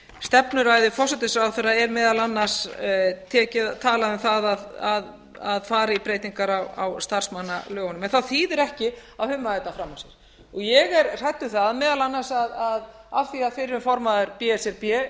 stefnuræðu forsætisráðherra er meðal annars talað um það að fara í breytingar á starfsmannalögunum en það þýðir ekki að humma þetta fram af sér ég er hrædd um það meðal annars að af því að fyrrum formaður b s r b